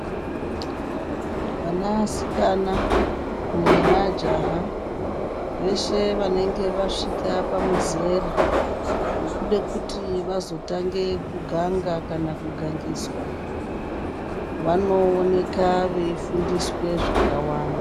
Vanasikana nemajaha, veshe vanenge vasvika pamuzera wekuda kuti vazotanga kuganga, kana kugangiswa, vanooneka veyifundiswe zvakawanda.